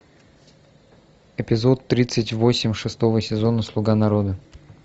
эпизод тридцать восемь шестого сезона слуга народа